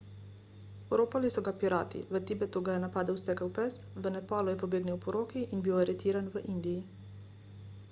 oropali so ga pirati v tibetu ga je napadel stekel pes v nepalu je pobegnil poroki in bil aretiran v indiji